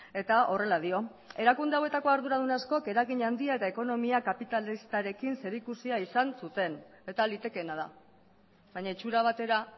eta horrela dio erakunde hauetako arduradun askok eragin handia eta ekonomia kapitalistarekin zerikusia izan zuten eta litekeena da baina itxura batera